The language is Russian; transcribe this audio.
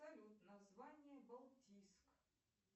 салют название балтийск